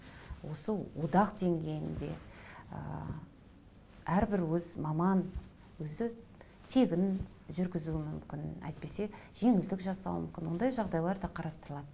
осы одақ деңгейінде ыыы әрбір өз маман өзі тегін жүргізуі мүмкін әйтпесе жеңілдік жасауы мүмкін ондай жағдайлар да қарастырылады